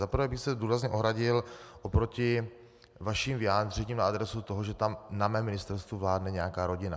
Za prvé bych se důrazně ohradil oproti vaším vyjádřením na adresu toho, že tam na mém ministerstvu vládne nějaká rodina.